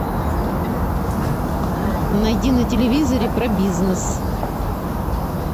найди на телевизоре про бизнес